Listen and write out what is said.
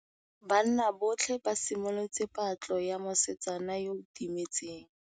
Banna botlhê ba simolotse patlô ya mosetsana yo o timetseng.